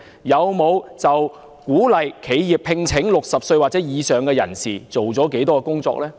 他們就鼓勵企業聘請60歲或以上人士做了多少工作呢？